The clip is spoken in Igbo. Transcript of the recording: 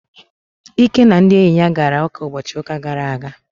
Ike na ndị enyi ya gara ụka ụbọchị ụka gara aga.